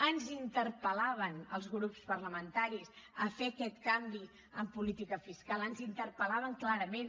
ens interpel·laven als grups parlamentaris a fer aquest canvi en política fiscal ens interpel·laven clarament